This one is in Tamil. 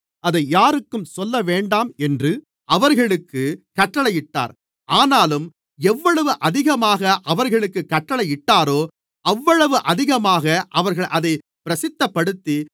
அதை யாருக்கும் சொல்லவேண்டாம் என்று அவர்களுக்குக் கட்டளையிட்டார் ஆனாலும் எவ்வளவு அதிகமாக அவர்களுக்குக் கட்டளையிட்டாரோ அவ்வளவு அதிகமாக அவர்கள் அதைப் பிரசித்தப்படுத்தி